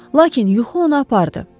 Lakin yuxu onu apardı.